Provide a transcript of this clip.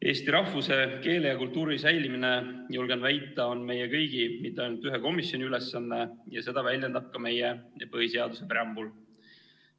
Eesti rahvuse, keele ja kultuuri säilimine, julgen väita, on meie kõigi, mitte ainult ühe komisjoni ülesanne ja seda väljendab ka meie põhiseaduse preambul.